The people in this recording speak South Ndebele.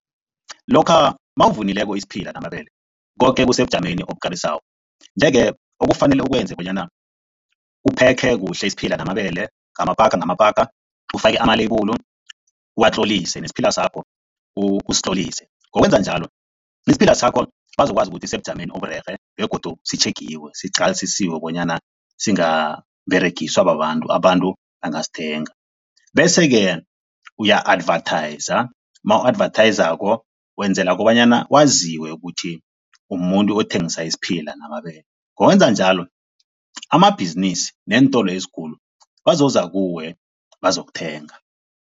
Lokha mawuvunileko isiphila namabele, koke kusebujameni obukarisako, nje-ke okufanele ukwenze bonyana uphekhe kuhle isiphila namabele ngamapaka ngamapaka, ufake ama-label uwatlolise nesiphila sakho usitlolise. Ngokwenza njalo, isiphila sakho bazokwazi ukuthi isebujameni oburerhe begodu sitjhegiwe, siqalisisiwe bonyana singaberegiswa babantu, abantu bangasithenga bese-ke uya-advertise, mawu-advathayizako wenzela kobanyana waziwe ukuthi umumuntu othengisa isiphila namabele, ngokwenza njalo amabhizinisi neentolo ezikulu bazoza kuwe bazokuthenga.